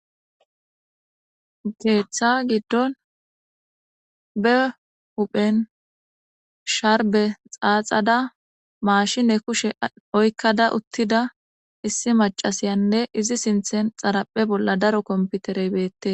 Keeththa giddon be huphen sharbe xaaxada maashine kushe oykkada uttida issi macasiyanne izi sinthen xaraphe bolla daro komputerey beette.